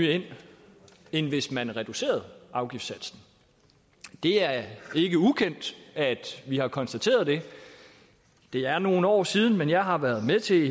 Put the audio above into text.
ind hvis man reducerede afgiftssatsen det er ikke ukendt at vi har konstateret det det er nogle år siden men jeg har været med til